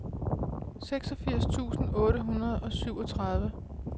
seksogfirs tusind otte hundrede og syvogtredive